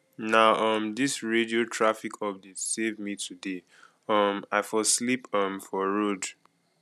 na um dis radio traffic updates save me today um i for sleep um for road